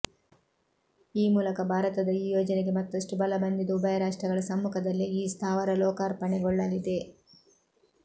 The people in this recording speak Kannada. ಈ ಮೂಲಕ ಭಾರತದ ಈ ಯೋಜನೆಗೆ ಮತ್ತಷ್ಟು ಬಲ ಬಂದಿದ್ದು ಉಭಯ ರಾಷ್ಟ್ರಗಳ ಸಮ್ಮುಖದಲ್ಲೇ ಈ ಸ್ಥಾವರ ಲೋಕಾರ್ಪಣೆಗೊಳ್ಳಲಿದೆ